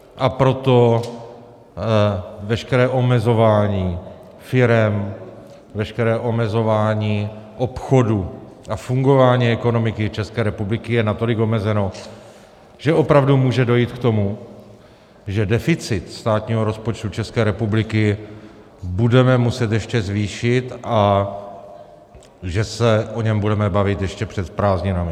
A proto veškeré omezování firem, veškeré omezování obchodů a fungování ekonomiky České republiky je natolik omezeno, že opravdu může dojít k tomu, že deficit státního rozpočtu České republiky budeme muset ještě zvýšit a že se o něm budeme bavit ještě před prázdninami.